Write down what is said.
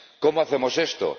¿Cómo hacemos esto?